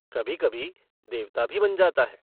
कभी-कभी देवता भी बन जाता है।